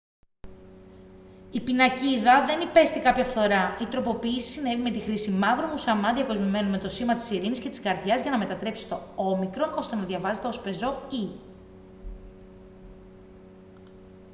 η πινακίδα δεν υπέστη κάποια φθορά. η τροποποίηση συνέβη με τη χρήση μαύρου μουσαμά διακοσμημένου με το σήμα της ειρήνης και της καρδιάς για να μετατρέψει το «o» ώστε να διαβάζεται ως πεζό «e»